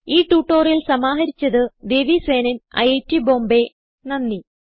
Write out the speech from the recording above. ഈ ട്യൂട്ടോറിയൽ സമാഹരിച്ചത് ദേവി സേനൻ ഐറ്റ് ബോംബേ നന്ദി